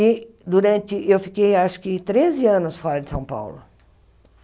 E durante... eu fiquei acho que treze anos fora de São Paulo.